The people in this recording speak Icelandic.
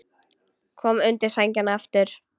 Kom undir sængina aftur.